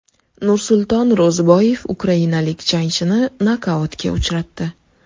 Nursulton Ro‘ziboyev ukrainalik jangchini nokautga uchratdi.